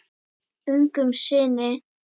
Ungum syni